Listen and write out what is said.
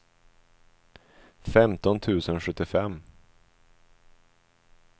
femton tusen sjuttiofem